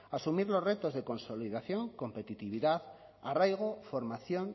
asumir los retos de consolidación competitividad arraigo formación